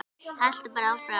Haltu bara áfram.